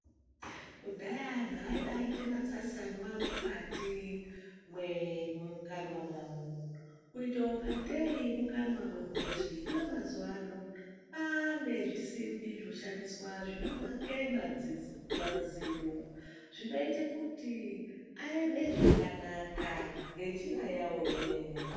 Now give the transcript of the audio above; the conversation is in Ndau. Kudhaya anhu aibaite matsatsanwa mukati mwemukanwa mawo kuita ngatei mukanwa mwehochi , hino mazuwano kwaane zvisimbi zvoshandiswa zvinomakaya mazino zvinoita kuti aeme zvakanaka ngenjira yawo yomene.